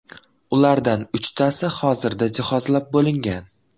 Ulardan uchtasi hozirda jihozlab bo‘lingan.